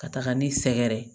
Ka taga ni sɛgɛrɛ ye